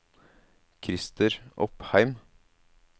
Krister Opheim